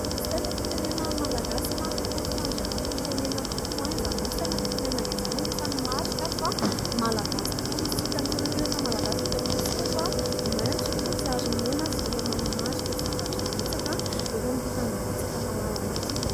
Sainam-pirenena malagasy mariky ny fiandranan-pirenena tokoa izany hoe sainam-pirenena izany, anisany marika fa malagasy tokoa isika. Ny sainam-pirenena malagasy moa dia fatantsika fa maintsy fotsy ary mena sy tena manamarika zavatra betsaka eto amin'ity tanindrazantsika malala ity.